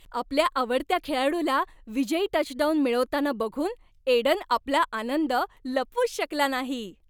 आपल्या आवडत्या खेळाडूला विजयी टचडाउन मिळवताना बघून एडन आपला आनंद लपवूच शकला नाही.